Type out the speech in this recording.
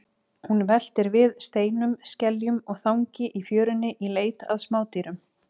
Mælti hann allt hendingum svo sem nú er það kveðið er skáldskapur heitir.